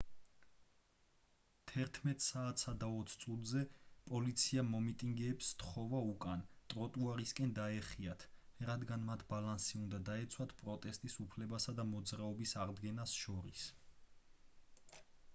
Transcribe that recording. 11:20 საათზე პოლიციამ მომიტინგეებს სთხოვა უკან ტროტუარისკენ დაეხიათ რადგან მათ ბალანსი უნდა დაეცვათ პროტესტის უფლებასა და მოძრაობის აღდგენას შორის